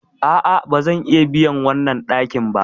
A'a, ba zan iya biyan wannan ɗakin ba.